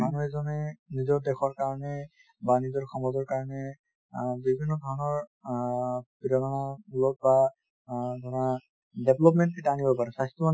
মানুহ এজনে নিজৰ দেশৰ কাৰনে বা নিজৰ সমাজৰ কাৰনে অ বিভিন্ন ধৰণৰ অ অ ধৰা development এটা আনিব পাৰে